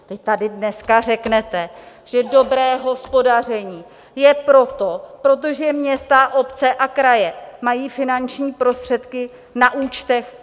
Vy tady dneska řeknete, že dobré hospodaření je proto, protože města, obce a kraje mají finanční prostředky na účtech?